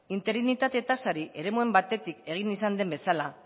interinitate tasari eremuan batetik egin izan den bezala